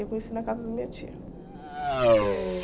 Eu conheci na casa da minha tia. Eh